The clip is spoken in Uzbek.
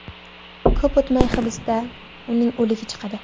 Ko‘p o‘tmay hibsdan... uning o‘ligi chiqadi.